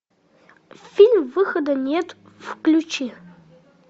фильм выхода нет включи